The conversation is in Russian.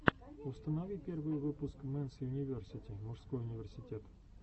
установи первый выпуск мэнс юниверсити мужской университет